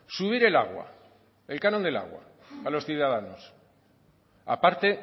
subir el agua el canon del agua a los ciudadanos aparte